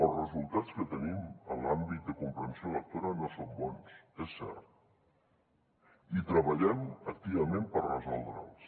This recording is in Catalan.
els resultats que tenim en l’àmbit de comprensió lectora no són bons és cert i hi treballem activament per resoldre’ls